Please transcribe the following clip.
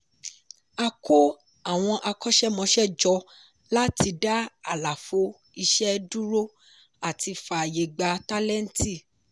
a kó àwọn akọ́ṣẹ́mọsẹ́ jọ láti dá àlàfo iṣẹ́ dúró àti fáayè gbà tálẹ́ǹtì.